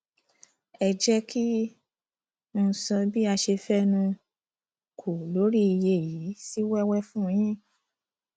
ẹ jẹ kí um n sọ bí a ṣe fẹnu um kò lórí iye yìí sí wẹwẹ fún yín